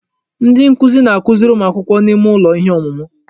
Ndi nkuzi na-akụziri ụmụ akwụkwọ n'ime ụlọ ihe ọmụmụ.